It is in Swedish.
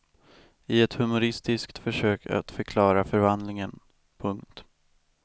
I ett humoristiskt försök att förklara förvandlingen. punkt